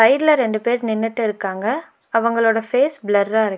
சைட்ல ரெண்டு பேர் நின்னுட்டு இருக்காங்க அவங்களோட ஃபேஸ் பிளர்ரா இரு--